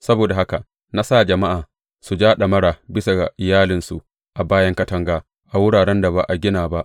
Saboda haka na sa jama’a su ja ɗamara bisa ga iyalinsu a bayan katanga, a wuraren da ba a gina ba.